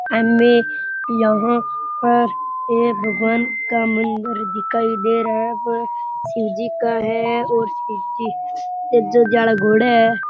एम ए यहां पर एक भगवान का मंदिर दिखाई दे रा है वह शिव जी का है और घोड़े है।